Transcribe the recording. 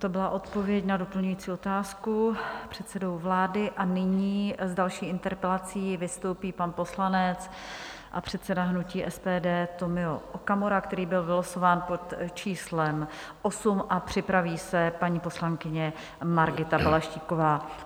To byla odpověď na doplňující otázku předsedy vlády a nyní s další interpelací vystoupí pan poslanec a předseda hnutí SPD Tomio Okamura, který byl vylosován pod číslem 8, a připraví se paní poslankyně Margita Balaštíková.